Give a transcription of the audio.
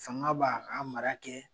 Fanga b'a ka mara kɛ